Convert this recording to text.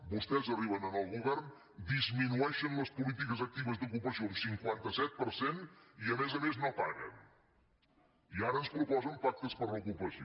vostès arriben al govern disminueixen les polítiques actives d’ocupació un cinquanta set per cent i a més a més no paguen i ara ens proposen pactes per l’ocupació